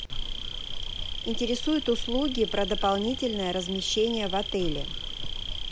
интересуют услуги про дополнительное размещение в отеле